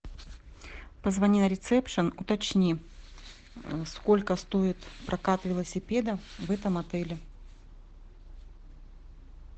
позвони на рецепшн уточни сколько стоит прокат велосипедов в этом отеле